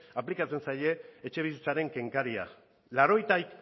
aplikatzen zaie etxebizitzaren kenkaria laurogeita